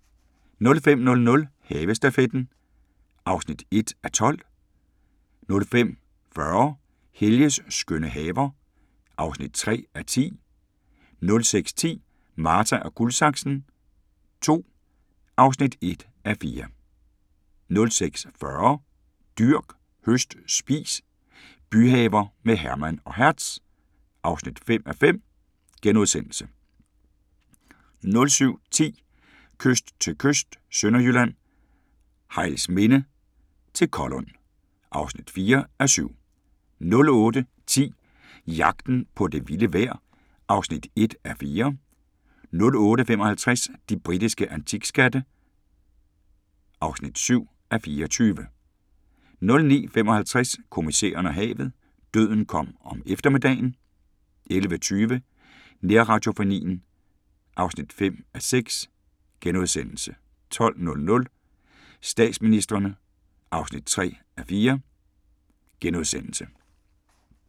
05:00: Havestafetten (1:12) 05:40: Helges skønne haver (3:10) 06:10: Marta & Guldsaksen II (1:4) 06:40: Dyrk, høst, spis – byhaver med Herman og Hertz (5:5)* 07:10: Kyst til kyst – Sønderjylland, Hejlsminde til Kollund (4:7) 08:10: Jagten på det vilde vejr (1:4) 08:55: De britiske antikskatte (7:24) 09:55: Kommissæren og havet: Døden kom om eftermiddagen 11:20: Nærradiofonien (5:6)* 12:00: Statsministrene (3:4)*